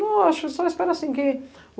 Não, acho, só espero assim que